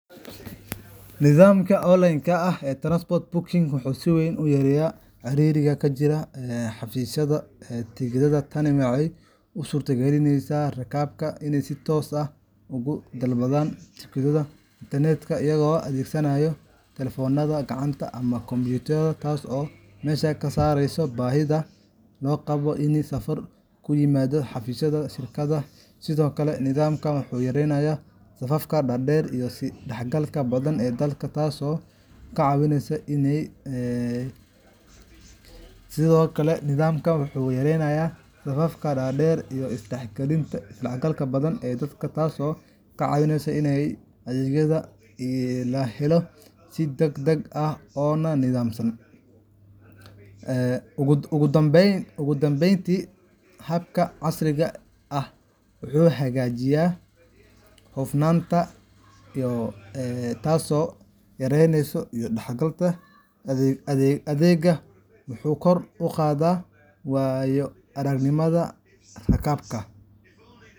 Nidaamyada online-ka ah ee transport booking waxay si weyn u yareeyaan ciriiriga ka jira xafiisyada tigidhada. Tani waxay u suurtagelinaysaa rakaabka in ay si toos ah uga dalbadaan tigidhadooda internetka, iyagoo adeegsanaya taleefannada gacanta ama kombiyuutarada, taas oo meesha ka saaraysa baahida loo qabo in ay safar ku yimaadaan xafiisyada shirkadaha. Sidoo kale, nidaamkan wuxuu yareynayaa safafka dhaadheer iyo is-dhexgalka badan ee dadka, taasoo ka caawisa in adeegyada la helo si degdeg ah oo nidaamsan. Ugu dambeyntii, habkan casriga ah wuxuu hagaajinayaa hufnaanta adeegga, wuxuuna kor u qaadaa waayo-aragnimada rakaabka.